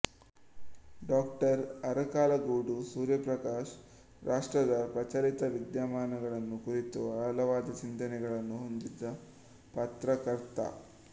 ಡಾ ಅರಕಲಗೂಡು ಸೂರ್ಯಪ್ರಕಾಶ್ ರಾಷ್ಟ್ರದ ಪ್ರಚಲಿತ ವಿದ್ಯಮಾನಗಳನ್ನು ಕುರಿತು ಆಳವಾದ ಚಿಂತನೆಗಳನ್ನು ಹೊಂದಿದ ಪತ್ರಕರ್ತ